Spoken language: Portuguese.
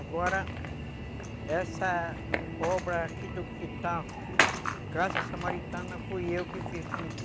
Agora, essa obra aqui do quintal, Casa Samaritana, fui eu que fiz também.